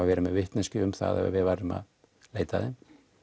vera með vitneskju um það að við værum að leita að þeim